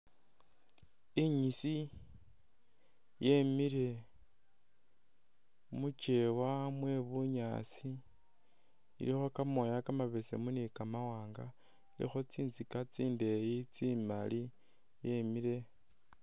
Inyisi yemile mukyewa mwe bunyaasi ilikho kamooya kamabesemu ni kamawanga ilikho tsinzika tsindeyi tsimali yemile